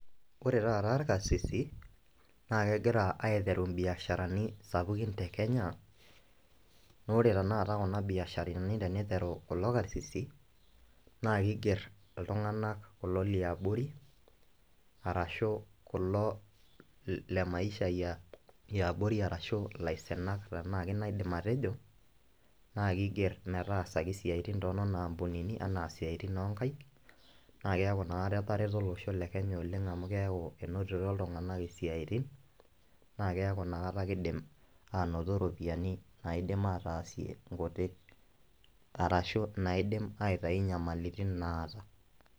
Ore taata irkarsisi naa kegira aitayu imbiasharani sapukin te kenya, naa ore tenakata kuna biasharani teniteru kulo karsisi , naa kiger kulo tunganak liabori arashu kulo le maisha e abori arashu ilaisinak tenaa kina aidim atejo naa kiger metaasaki isiatin toonena ampunini anaa inoo nkaik naa keaku inakata etareto olosho le kenya amu keaku enotito iltunganak isiatin naa keaku inakata kindim anoto iropiyiani nadim ataasie nkuti arashu naidim aitayu inyamalitin naata.